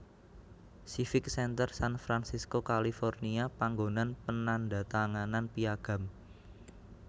Civic Center San Francisco California panggonan penandhatanganan Piagam